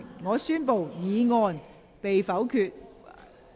我宣布議案被否決。